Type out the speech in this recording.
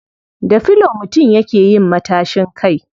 Da filo mutum yake yin matashin kai.